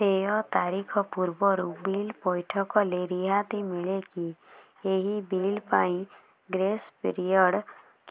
ଦେୟ ତାରିଖ ପୂର୍ବରୁ ବିଲ୍ ପୈଠ କଲେ ରିହାତି ମିଲେକି ଏହି ବିଲ୍ ପାଇଁ ଗ୍ରେସ୍ ପିରିୟଡ଼